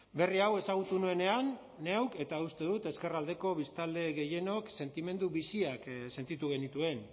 berri hau ezagutu nuenean neuk eta uste dut ezkerraldeko biztanle gehienok sentimendu biziak sentitu genituen